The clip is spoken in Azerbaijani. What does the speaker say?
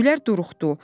Güllər duruxdu.